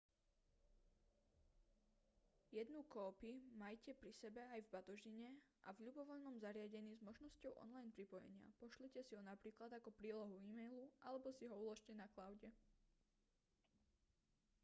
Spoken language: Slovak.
jednú kópi majte pri sebe aj v batožine a v ľubovoľnom zariadení s možnosťou online pripojenia pošlite si ho napríklad ako prílohu e-mailu alebo si ho uložte na cloude